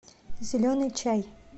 зеленый чай